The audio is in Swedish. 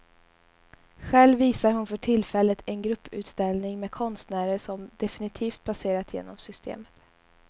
Själv visar hon för tillfället en grupputställning med konstnärer som definitivt passerat genom systemet.